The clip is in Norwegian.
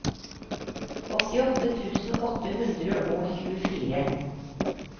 åttiåtte tusen åtte hundre og tjuefire